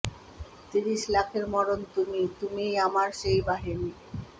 তিরিশ লাখের মরণ তুমি তুমি ই আমার সেই বাহিনী